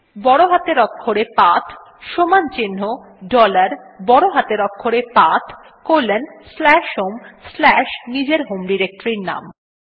বড় হাতের অক্ষরে পাথ সমান চিন্হ ডলার বড় হাতের অক্ষরে path colon slash home slash নিজের হোম ডিরেক্টরীর নাম